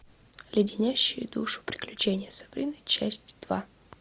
леденящие душу приключения сабрины часть два